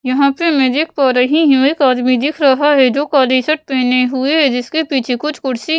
यहाँ पे मैं देख पा रही हूँ एक आदमी दिख रहा है जो काले शर्ट पहने हुए है जिसके पीछे कुछ कुर्सी --